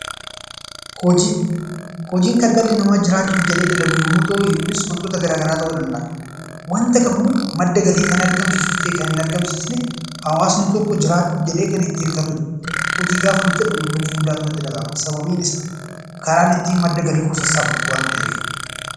Hojiin kan dhalli namaa jiraachuuf jedhee dalagu yommuu ta'u, innis wantoota garaa garaa ta'uu danda'a. Waanta kamuu madda galii kan argamsiisuu fi kan hin argamsiisne, hawaasni tokko jiraachuuf jedhee kan itti hirkatudha. Hojii gaafan hojjedhu gammachuu guddaatu natti dhagahama. Sababiin isaa karaan madda galii koo sassaabbadhu waan ta'eef.